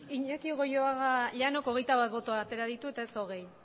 iñaki goioaga llanok hogeita bat boto atera ditu eta ez hogei